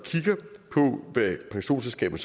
hvad pensionsselskaberne